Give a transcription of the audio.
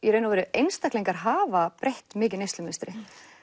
einstaklingar hafa breytt mikið neyslumynstri